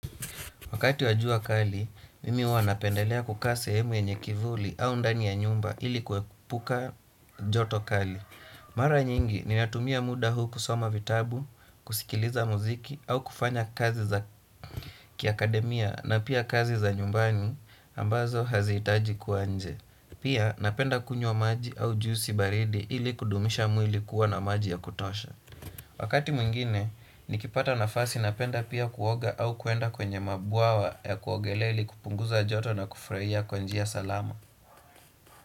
Wakati wajua kali, mimi huwa napendelea kukaa sehemu yenye kivuli au ndani ya nyumba ili kuepuka joto kali. Mara nyingi ninatumia muda huu kusoma vitabu, kusikiliza muziki au kufanya kazi za kiakademia na pia kazi za nyumbani ambazo haziitaji kua nje. Pia napenda kunywa maji au juisi baridi ili kudumisha mwili kuwa na maji ya kutosha. Wakati mwingine, nikipata nafasi napenda pia kuoga au kuenda kwenye mabwawa ya kuogelea ili kupunguza joto na kufurahia kwa njia salama.